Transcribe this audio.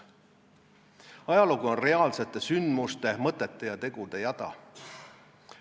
Ajalugu on reaalsete sündmuste, mõtete ja tegude jada.